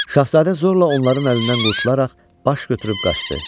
Şahzadə zorla onların əlindən qurtularaq baş götürüb qaçdı.